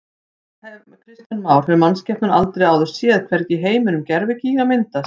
Kristján Már: Hefur mannskepnan aldrei áður séð, hvergi í heiminum, gervigíga myndast?